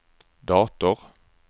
dator